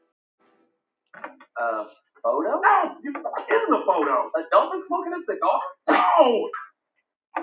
Enginn má sköpum renna.